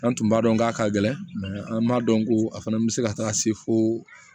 An tun b'a dɔn k'a ka gɛlɛn an b'a dɔn ko a fana bɛ se ka taga se fo